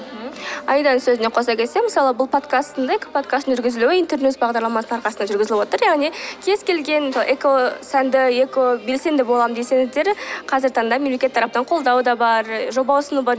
мхм аиданың сөзіне қосыла кетсем мысалы бұл экоподкасттың жүргізілуі интернюйс бағдарламасының арқасында жүргізіліп отыр яғни кез келген экосәнді экобелсенді боламын десеңіздер қазіргі таңда мемлекет тарапынан қолдау да бар жоба ұсыну бар